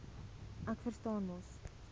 ek verstaan mos